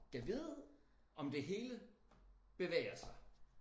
Gad vide om det hele bevæger sig